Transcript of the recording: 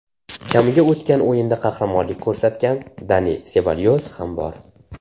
Kamiga o‘tgan o‘yinda qahramonlik ko‘rsatgan Dani Sebalyos ham bor.